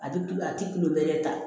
A tɛ tu a tɛ tulo wɛrɛ ta